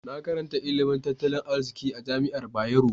Na karanta ilimin tattalin arziki a jami'ar Bayero.